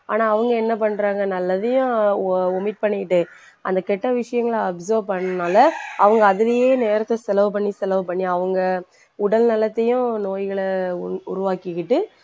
ஆனா அவங்க என்ன பண்றாங்க நல்லதையும் o~ omit பண்ணிக்கிட்டு அந்த கெட்ட விஷயங்கள observe பண்ணனால அவங்க அதுலேயே நேரத்தை செலவு பண்ணி செலவு பண்ணி அவங்க உடல் நலத்தையும் நோய்களை உ~ உருவாக்கிக்கிட்டு